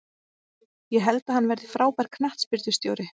Ég held að hann verði frábær knattspyrnustjóri.